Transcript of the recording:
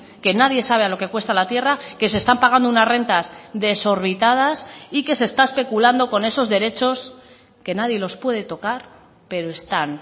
que nadie sabe a lo que cuesta la tierra que se están pagando unas rentas desorbitadas y que se está especulando con esos derechos que nadie los puede tocar pero están